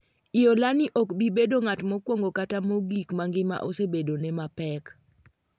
lolani ok bi bedo ng'at mokwongo kata mogik ma ngima osebedone mapek